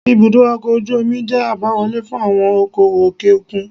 Ibùdó ọkọ̀ ojú omi jẹ́ àbáwọlé fún àwọn okoòwò òkè òkun.